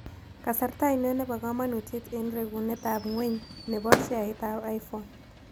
Kasarta ainon ne po kamang'unet eng' regunetap ng'weny ne po sheaitap iphone